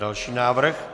Další návrh.